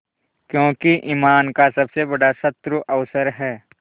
क्योंकि ईमान का सबसे बड़ा शत्रु अवसर है